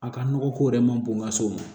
A ka nɔgɔ ko yɛrɛ man bon n ka s'o ma